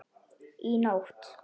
Í nótt?